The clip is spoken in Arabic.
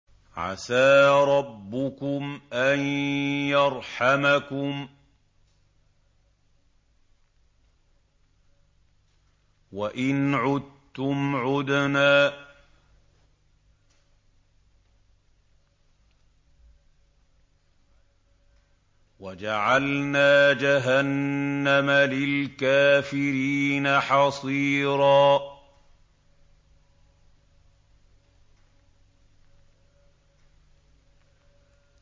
عَسَىٰ رَبُّكُمْ أَن يَرْحَمَكُمْ ۚ وَإِنْ عُدتُّمْ عُدْنَا ۘ وَجَعَلْنَا جَهَنَّمَ لِلْكَافِرِينَ حَصِيرًا